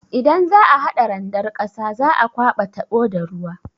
Idan za'a hada randar ƙasa, za'a kwaba taɓo da ruwa.